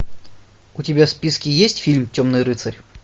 у тебя в списке есть фильм темный рыцарь